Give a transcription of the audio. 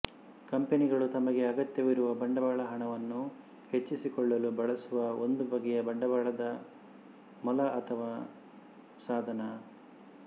ಕಂಪೆನಿಗಳು ತಮಗೆ ಅಗತ್ಯವಿರುವ ಬಂಡವಾಳಹಣವನ್ನು ಹೆಚ್ಚಿಸಿಕೊಳ್ಳಲು ಬಳಸುವ ಒಂದು ಬಗೆಯ ಬಂಡವಾಳದ ಮೊಲ ಅಥವಾ ಸಾಧನ